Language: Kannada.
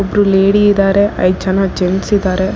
ಒಬ್ಬರು ಲೇಡಿ ಇದಾರೆ ಐದ್ ಜನ ಜೆಂಟ್ಸ್ ಇದಾರೆ.